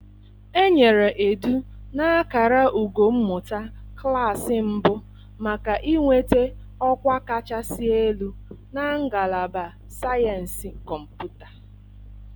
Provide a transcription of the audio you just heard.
Enyere Edu na akara ugo mmụta klaasị mbụ maka inweta ọkwa kachasị elu na Ngalaba Sayensị Kọmputa.